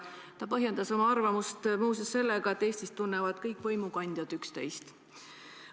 Ta põhjendas oma arvamust muu seas sellega, et Eestis tunnevad kõik võimukandjad üksteist.